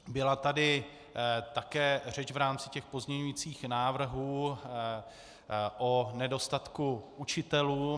Byla tady také řeč v rámci těch pozměňujících návrhů o nedostatku učitelů.